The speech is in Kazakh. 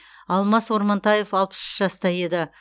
алмас ормантаев алпыс үш жаста еді